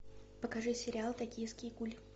покажи сериал токийский гуль